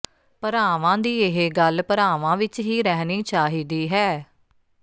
ਭਰਾਵਾਂ ਦੀ ਇਹ ਗੱਲ ਭਰਾਵਾਂ ਵਿਚ ਹੀ ਰਹਿਣੀ ਚਾਹੀਦੀ ਹੈ